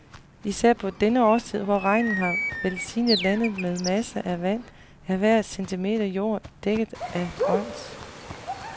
Især på denne årstid, hvor regnen har velsignet landet med masser af vand, er hver centimeter jord dækket af grønt.